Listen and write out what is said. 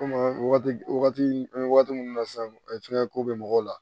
Komi wagati wagati an bɛ wagati min na sisan ko bɛ mɔgɔw la